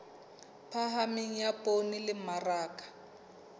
phahameng ya poone le mmaraka